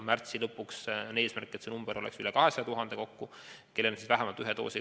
Märtsi lõpu eesmärk on, et see arv oleks üle 200 000 – neid, kes on saanud vähemalt ühe doosi.